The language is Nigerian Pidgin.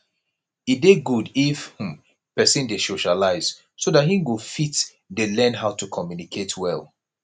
e dey good if um person dey socialise so dat im go fit dey learn how to communicate well